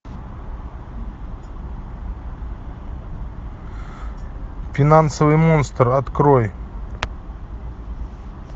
финансовый монстр открой